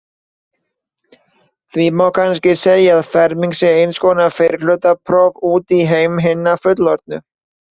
Því má kannski segja að fermingin sé eins konar fyrrihlutapróf út í heim hinna fullorðnu.